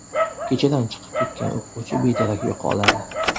Kechadan chiqib ketgan o‘quvchi bedarak yo‘qoladi.